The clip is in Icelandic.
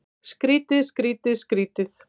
Skrýtið, skrýtið, skrýtið.